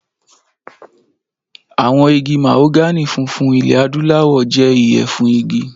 Àwọn igi mahogany funfun ilẹ̀ Adúláwọ̀ jẹ́ iye fún igi.